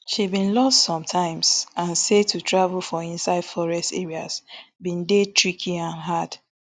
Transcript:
she bin lost some times and say to travel for inside forest areas bin dey tricky and hard